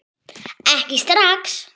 Ekki strax.